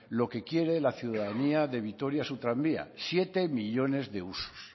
lo que quiere la ciudadanía de vitoria su tranvía siete millónes de usos